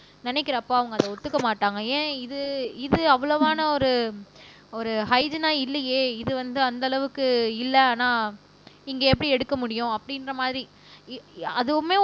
நினைக்கிறப்ப அவங்க அதை ஒத்துக்க மாட்டாங்க ஏன் இது இது அவ்வளவான ஒரு ஒரு ஹைஜினா இல்லையே இது வந்து அந்த அளவுக்கு இல்லை ஆனா இங்கே எப்படி எடுக்க முடியும் அப்படின்ற மாதிரி அதுவுமே